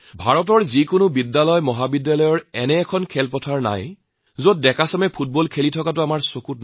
ভাৰতবৰ্ষৰ কোনো স্কুলকলেজৰ এনে কোনো ফিল্ড নাথাকিব যত আমাৰ তৰুণসকলে ফুটবল নেখেলাকৈ আছে